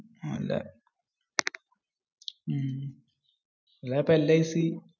അപ്പോ LIC?